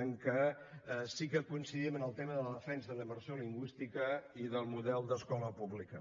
en què sí que coincidim en el tema de la defensa de la immersió lingüística i del model d’escola pública